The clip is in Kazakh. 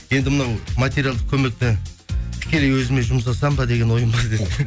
енді мынау материалдық көмекті тікелей өзіме жұмсасам ба деген ойым